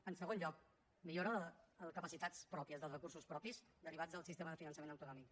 en segon lloc millora de les capacitats pròpies dels recursos propis derivats del sistema de finançament autonòmic